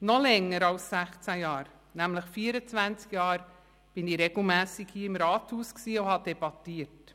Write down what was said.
Noch länger als sechzehn Jahre, nämlich 24 Jahre war ich regelmässig hier im Rathaus und habe debattiert.